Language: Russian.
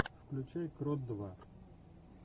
включай крот два